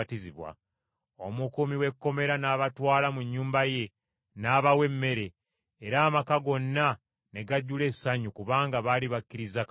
Omukuumi w’ekkomera n’abatwala mu nnyumba ye, n’abawa emmere, era amaka gonna ne gajjula essanyu kubanga baali bakkirizza Katonda.